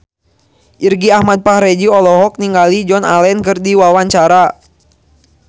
Irgi Ahmad Fahrezi olohok ningali Joan Allen keur diwawancara